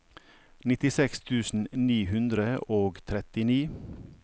nittiseks tusen ni hundre og trettini